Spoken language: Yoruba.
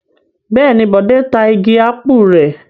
Bẹ́ẹ̀ ni, Bọ̀dé ta igi ápù rẹ̀.